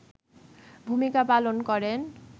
ভূমিকা পালন করেন